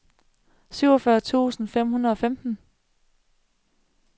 syvogfyrre tusind fem hundrede og femten